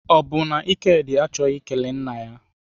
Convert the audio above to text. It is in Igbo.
Ọ bụ na Ikedi achọghị ikele nna ya?